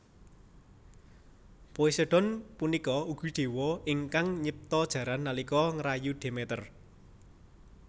Poseidon punika ugi dewa ingkang nyipta jaran nalika ngrayu Demeter